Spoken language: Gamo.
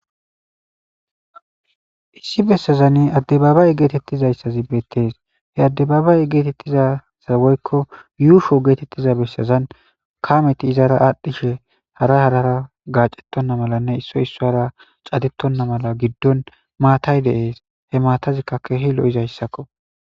issi bessazan addebabay geetettizayssazi beettees he addebabay geetettizasawoykko yuusho geetettiza bessazan kameti izara aadhdhishe hara harara gaacettonna malanne issoy issora catettonna mala giddon maatay deees he maatazikkakkehilo7izayssakko